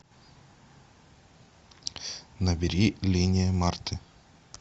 набери линия марты